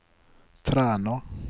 Træna